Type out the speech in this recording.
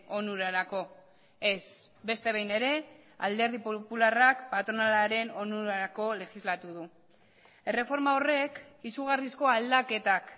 onurarako ez beste behin ere alderdi popularrak patronalaren onurarako legislatu du erreforma horrek izugarrizko aldaketak